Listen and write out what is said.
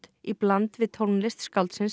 í bland við tónlist skáldsins